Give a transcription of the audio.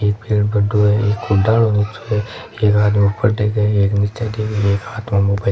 एक पेड़ बडो है एक को डालो नीचो है एक आदमी ऊपर देखे एक नीचे देखे एक हाथ में मोबाइल --